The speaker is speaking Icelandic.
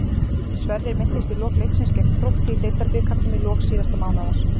Sverrir meiddist í lok leiksins gegn Þrótti í Deildabikarnum í lok síðasta mánaðar.